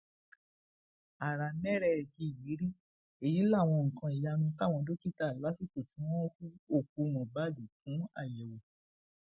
aramẹrẹyíyírí èyí láwọn nǹkan ìyanu táwọn dókítà lásìkò tí wọn hu òkú mohbad fún àyẹwò